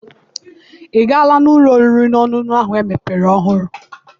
I gaala n'ụlọ oriri na ọṅụṅụ ahụ emepere ọhụrụ?